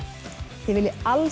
þið viljið alls